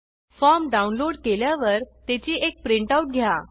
form download केल्यावर त्याची एक प्रिंट आऊट घ्या